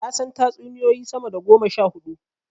Na san tatsuniyoyi sama da goma sha huɗu.